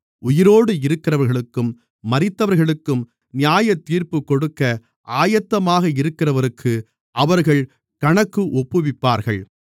உயிரோடு இருக்கிறவர்களுக்கும் மரித்தவர்களுக்கும் நியாயத்தீர்ப்புக் கொடுக்க ஆயத்தமாக இருக்கிறவருக்கு அவர்கள் கணக்கு ஒப்புவிப்பார்கள்